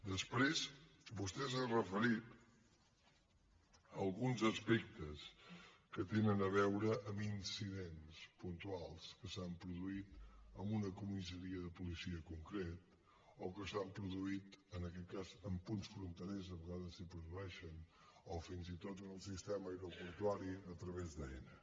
després vostè s’ha referit a alguns aspectes que tenen a veure amb incidents puntuals que s’han produït en un comissaria de policia en concret o que s’han produït en aquest cas en punts fronterers a vegades s’hi produeixen o fins i tot en el sistema aeroportuari a través d’aena